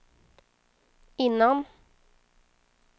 innan